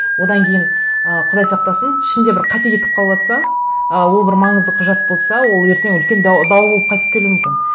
одан кейін ы құдай сақтасын ішінде бір қате кетіп қалыватса ы ол бір маңызды құжат болса ол ертең үлкен дау болып қайтып келуі мүмкін